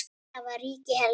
Þar var ríki Heljar.